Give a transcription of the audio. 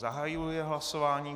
Zahajuji hlasování.